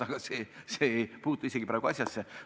Aga see ei puutu praegu asjasse.